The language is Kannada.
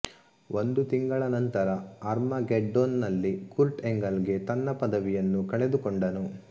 ಒಂದು ತಿಂಗಳು ನಂತರ ಆರ್ಮಗೆಡ್ಡೋನ್ ನಲ್ಲಿ ಕುರ್ಟ್ ಎಂಗಲ್ ಗೆ ತನ್ನ ಪದವಿಯನ್ನು ಕಳೆದುಕೊಂಡನು